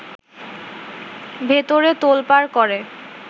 ভেতরে তোলপাড় করে